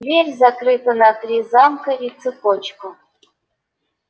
дверь закрыта на три замка и цепочку